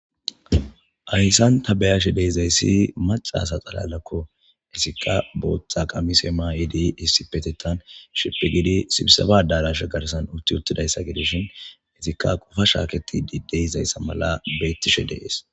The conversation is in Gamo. ayssan tabayashe deizayssi macasa xalalakko isikka booththa qamiseema yidi issipetetan shipi gidi sibisafa darashe garsan utti uttidayssa gideshin izikka qofa shaaketi dideizayssa mala beettishe deees